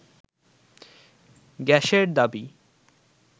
গ্যাসের দাবি